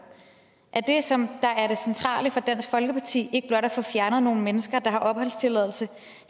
er det som er det centrale for dansk folkeparti ikke blot at få fjernet nogle mennesker der har opholdstilladelse